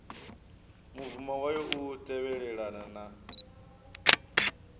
mubvumo wayo u tevhelelana na